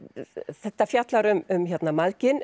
þetta fjallar um